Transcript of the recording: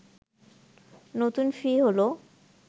নতুন ফি হলো